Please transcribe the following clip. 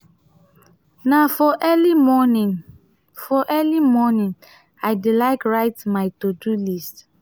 na for early morning for early morning i dey like write my to-do list.